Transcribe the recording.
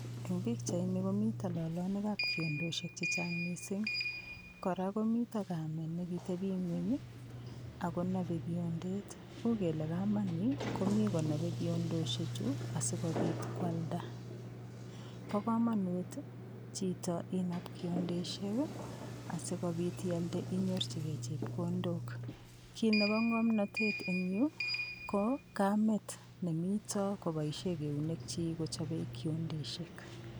Eng' pikchaini komito lolonikab kiondoshek chechang' mising' kora komito kamet nekiteping'weny akonopei kiondet uu kele kamani komi konopei kiondoshe chu asikobit kwalda bo komonut chito inap kiondeshek asikobit ialde inyorchigei chepkondok kiit nebo ng'omnotet eng' yu ko kamet nemito koboishe eunekchi kochobei kiondeshek